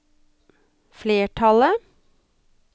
flertallet